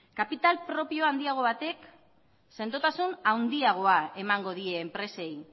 kapital propio handiago batek sendotasun handiago emango die enpresei